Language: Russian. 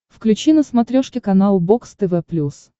включи на смотрешке канал бокс тв плюс